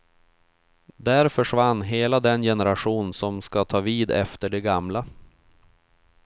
Där försvann hela den generation som ska ta vid efter de gamla.